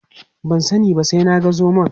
Ban sani ba sai na ga zomon.